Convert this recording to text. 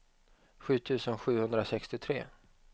sju tusen sjuhundrasextiotre